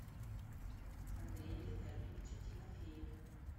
андрее витальевиче тимофееве